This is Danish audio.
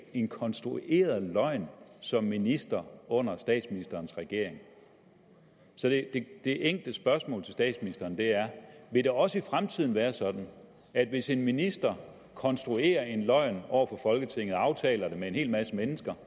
en konstrueret løgn som minister under statsministerens regeringen det enkle spørgsmål til statsministeren er vil det også i fremtiden være sådan at hvis en minister konstruerer en løgn over for folketinget og aftaler det med en hel masse mennesker